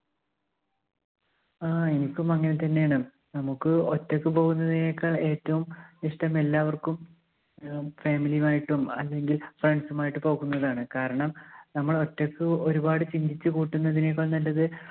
ആ എനിക്കും അങ്ങനെ തന്നെയാണ്. നമുക്ക് ഒറ്റയ്ക്ക് പോകുന്നതിനേക്കാൾ ഏറ്റവും ഇഷ്ടം എല്ലാവർക്കും അഹ് family യും ആയിട്ടും അല്ലെങ്കിൽ friends ഉം ആയിട്ട് പോകുന്നതാണ്. കാരണം നമ്മൾ ഒറ്റയ്ക്ക് ഒരുപാട് ചിന്തിച്ച് കൂട്ടുന്നതിനേക്കാൾ നല്ലത്